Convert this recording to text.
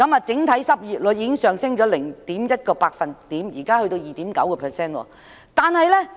整體失業率現已上升 0.1 個百分點至 2.9%。